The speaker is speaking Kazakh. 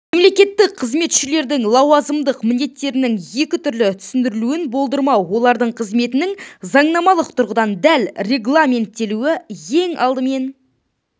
мемлекеттік қызметшілердің лауазымдық міндеттерінің екі түрлі түсіндірілуін болдырмау олардың қызметінің заңнамалық тұрғыдан дәл регламенттелуі ең алдымен